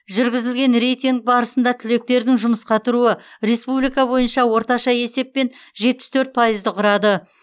жүргізілген рейтинг барысында түлектердің жұмысқа тұруы республика бойынша орташа есеппен жетпіс төрт пайызды құрады